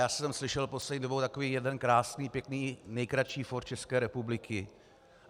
Já jsem slyšel poslední dobou takový jeden krásný pěkný nejkratší fór České republiky.